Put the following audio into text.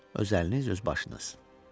Öz əliniz, öz başınız.